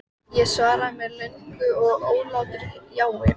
Fimmmenningarnir hafa sýnilega haft orð hans að engu.